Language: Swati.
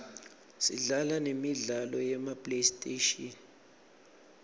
sidlala nemidlalo yema playstation